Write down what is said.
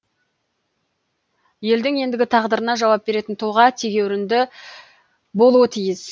елдің ендігі тағдырына жауап беретін тұлға тегеурінді болуы тиіс